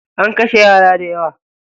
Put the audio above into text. An kashe yara dayawa.